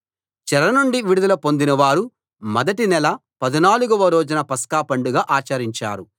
చెర నుండి విడుదల పొందినవారు మొదటి నెల 14 వ రోజున పస్కా పండగ ఆచరించారు